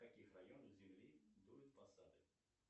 в каких районах земли дуют пассаты